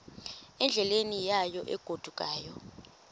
endleleni yayo egodukayo